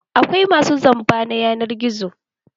Akwai masu zamba na yanar gizo.